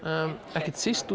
ekki síst